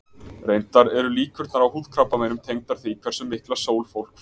Reyndar eru líkurnar á húðkrabbameinum tengdar því hversu mikla sól fólk fær.